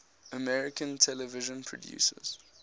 american television producers